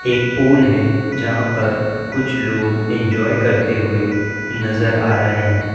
एक पूल है जहां पर कुछ लोग एंजॉय करते हुए नजर आ रहे है।